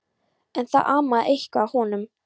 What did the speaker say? En það amaði eitthvað að honum.